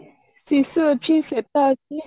ଶିଶୁ ଅଛି ଶ୍ଵେତା ଅଛି